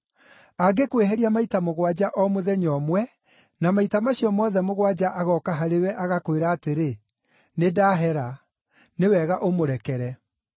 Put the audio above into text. Angĩkwĩhĩria maita mũgwanja o mũthenya ũmwe, na maita macio mothe mũgwanja agooka harĩ we agakwĩra atĩrĩ, ‘Nĩndahera,’ nĩ wega ũmũrekere.”